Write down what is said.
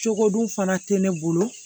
Cogo dun fana tɛ ne bolo